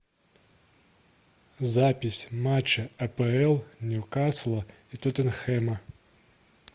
запись матча апл ньюкасла и тоттенхэма